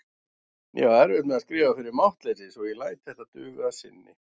Ég á erfitt með að skrifa fyrir máttleysi svo ég læt þetta duga að sinni.